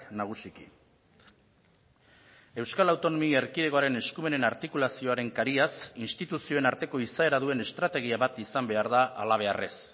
nagusiki euskal autonomia erkidegoaren eskumenen artikulazioaren kariaz instituzioen arteko izaera duen estrategia bat izan behar da halabeharrez